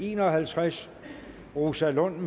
en og halvtreds rosa lund